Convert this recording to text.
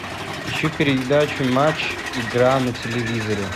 ищу передачу матч игра на телевизоре